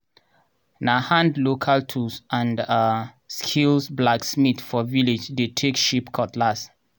na hand local tools and um skill blacksmith for village dey take shape cutlass.